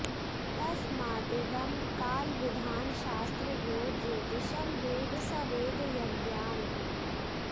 तस्मादिदं कालविधानशास्त्र यो ज्योतिषं वेद स वेद यज्ञान्